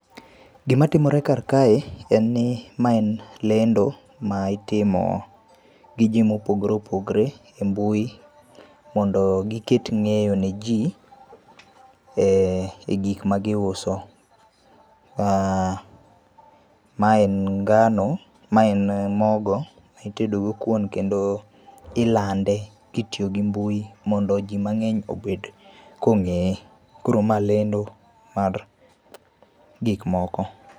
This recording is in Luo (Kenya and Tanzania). Gima timore kar kae en ni mae en lendo ma itimo gi jii mopogore opogore e mbui mondo giket ng'eyo ne jii e gikma giuso. Aaah, ma en ngano, ma en mogo mitedo go kuon kendo ilande kitiyo gi mbui mondo jiimang'eny obed kongeye. Koro ma lendo mar gik moko